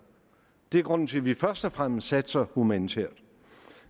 det er grunden til at vi først og fremmest satser humanitært